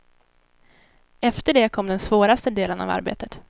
Efter det kom den svåraste delen av arbetet.